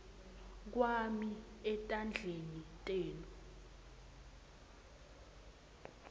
kwami etandleni tenu